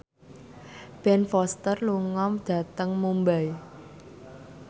Ben Foster lunga dhateng Mumbai